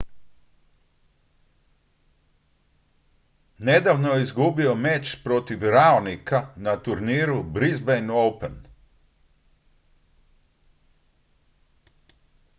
nedavno je izgubio meč protiv raonica na turniru brisbane open